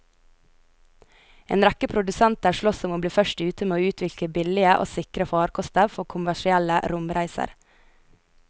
En rekke produsenter sloss om å bli først ute med å utvikle billige og sikre farkoster for kommersielle romreiser.